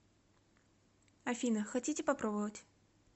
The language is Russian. афина хотите попробовать